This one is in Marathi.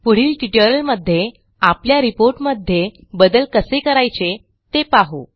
पुढील ट्युटोरियलमध्ये आपल्या रिपोर्ट मध्ये बदल कसे करायचे ते पाहू